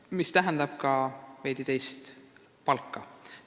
See tähendab ka teistsugust palka.